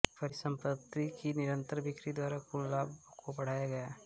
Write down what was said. परिसंपत्ति की निरंतर बिक्री द्वारा कुल लाभ को बढ़ाया गया